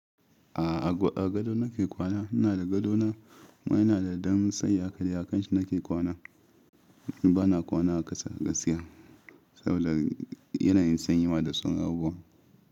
A'a, a gado nake kwana. Ina da gadona kuma ina da dam tsayi hakadai a kanshi nake kwana. Ba na kwana a ƙasa gaskiya saboda yana yin sanyi ma da sauran abubuwa.